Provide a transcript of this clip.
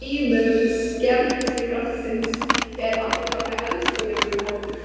Meðal annars í endurtekningum á augljósum tengslum barneigna og kynlífs.